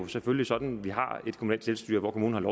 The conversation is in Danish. selvfølgelig sådan vi har et kommunalt selvstyre hvor kommunen